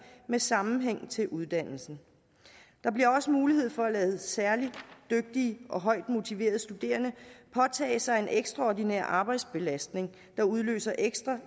med sammenhæng til uddannelsen der bliver også mulighed for at lade særligt dygtige og højt motiverede studerende påtage sig en ekstraordinær arbejdsbelastning der udløser ekstra